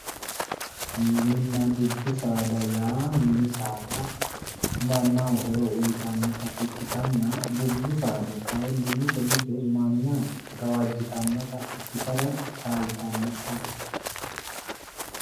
Mininna dubbu saada yaa ,mini saada mannaho horo uyittanotta ikkittanna dubbu saada kayinni mite mite manna gawajittanote ikkittara chalitano